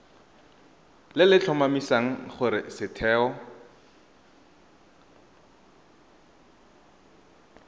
le le tlhomamisang gore setheo